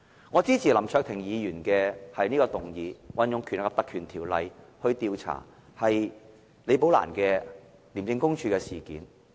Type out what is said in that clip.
我支持林卓廷議員的議案，引用《條例》調查廉署李寶蘭女士的事件。